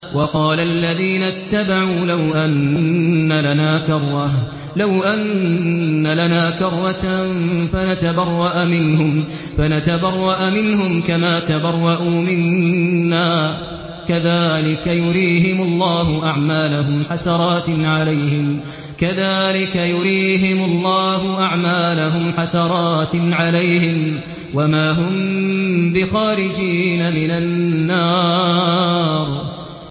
وَقَالَ الَّذِينَ اتَّبَعُوا لَوْ أَنَّ لَنَا كَرَّةً فَنَتَبَرَّأَ مِنْهُمْ كَمَا تَبَرَّءُوا مِنَّا ۗ كَذَٰلِكَ يُرِيهِمُ اللَّهُ أَعْمَالَهُمْ حَسَرَاتٍ عَلَيْهِمْ ۖ وَمَا هُم بِخَارِجِينَ مِنَ النَّارِ